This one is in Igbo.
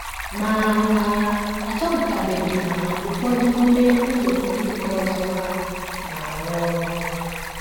Ma, a, a chọpụtachabeghị ma ụfọdụ n’ime ụzọ ndị nke ọzọ hà na - arụ ọrụ.